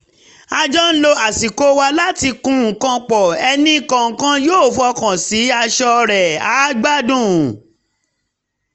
a jọ ń lo àsìkò wa láti kun nǹkan pọ̀ ẹnì kọ̀ọ̀kan yóó fọkàn sí aṣọ rẹ̀ àá gbádùn